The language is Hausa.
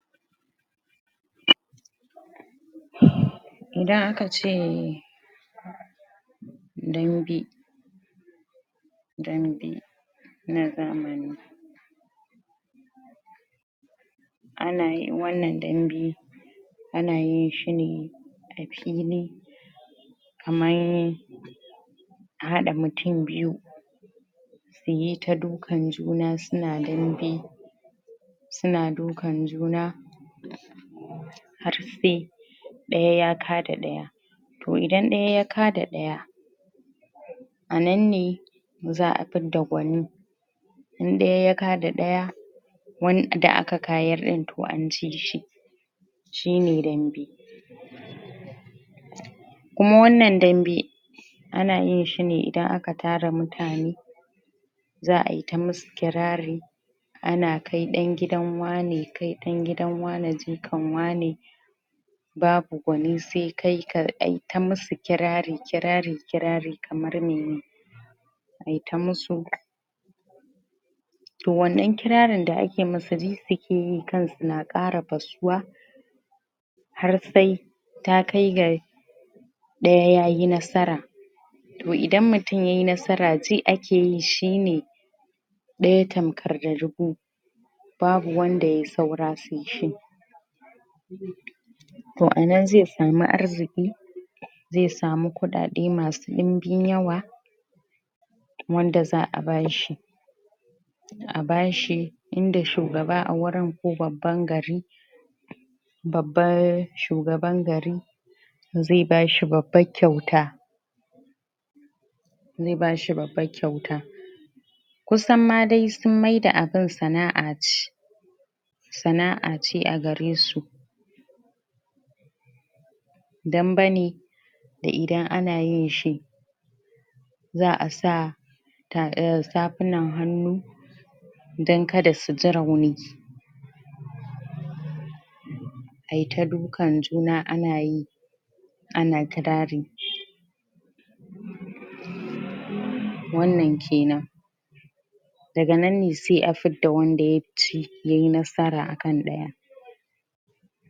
idan akace dambe dambe na zamani ana yi wannan dambe ana yin shi ne a fili kaman ahaɗa mutun biyu su yi ta dukan juna suna dambe suna dukan juna har sai ɗaya ya kada ɗaya to idan ɗaya ya kada ɗaya an ne za'a fidda gwani in ɗaya yada ɗaya wanda aka kayar ɗin toh anci shi shi ne dambe kuma wannan dambe ana yin shi ne idan akatara mutane za’ayi tamusu kirari ana dai ɗan gidan wane ɗan gidan wane jika kan wane babu gwanin su sai kai ayi ta musu kirari kirari kirari kamar mene ayi ta musu to wannan kirarin da’a ke musa ji suke yi kansu na kara fasuwa har sai ta kai ga ɗaya yayi nasara to idan mutun yayi nasara ji ake shi ne ke yi shi ne ɗaya tamkar ga dubu babu wanda ya taura sai shi babu wanda sai shi to anan zai samu arziƙi zai samu ƙuɗaɗe masu ɗumbin yawa wanda za a bashi a bashi inda shugaba awurin ko babban gari babbar shugaban gari zai bashi babban kyauta zai bashi babban kyauta kusam ma dai an maida abun sana'a sana'a ce agare su damba ne za'a sa za’a sa tafunan hannu dan kada suji rauni ai ta du kan juna anyi ta wannan kenan daga nanne sai a fidda wandaya ci tara akan ɗaya.